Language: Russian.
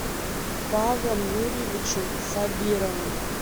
павлом юрьевичем сабировым